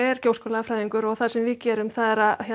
er gjóskulagafræðingur og það sem við gerum er að